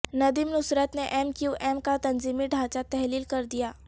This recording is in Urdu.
ندیم نصرت نے ایم کیو ایم کا تنظیمی ڈھانچہ تحلیل کردیا